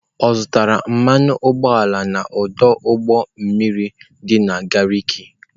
Ọ zụtara mmanụ ụgbọala n'ọdụ ụgbọ mmiri dị na Gariki?